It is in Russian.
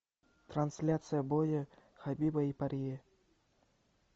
трансляция боя хабиба и порье